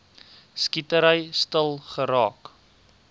skietery stil geraak